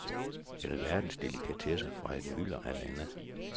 Alverdens delikatesser fra et mylder af lande.